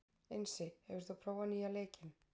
Einsi, hefur þú prófað nýja leikinn?